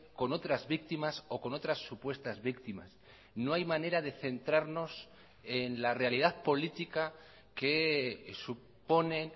con otras víctimas o con otras supuestas víctimas no hay manera de centrarnos en la realidad política que supone